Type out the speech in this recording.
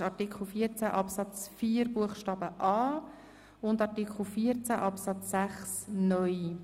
Es geht um Artikel 14 Absatz 4 Buchstabe a und Artikel 14 Absatz 6(neu).